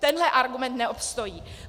Tenhle argument neobstojí.